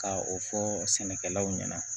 Ka o fɔ sɛnɛkɛlaw ɲɛna